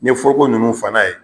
Ni ye foroko nunnu fa n'a ye